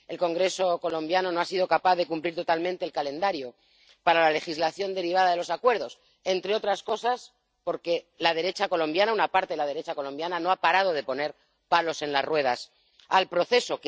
El Congreso colombiano no ha sido capaz de cumplir totalmente el calendario para la legislación derivada de los acuerdos, entre otras cosas porque la derecha colombiana, una parte de la derecha colombiana no ha parado de poner palos en las ruedas al proceso.